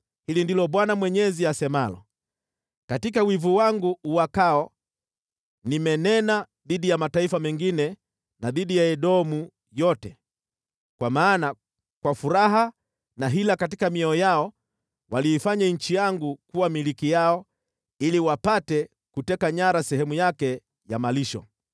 hili ndilo Bwana Mwenyezi asemalo: Katika wivu wangu uwakao nimenena dhidi ya mataifa mengine na dhidi ya Edomu yote, kwa maana kwa furaha na hila katika mioyo yao waliifanya nchi yangu kuwa milki yao ili wapate kuteka nyara sehemu yake ya malisho.’